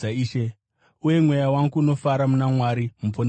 uye mweya wangu unofara muna Mwari Muponesi wangu,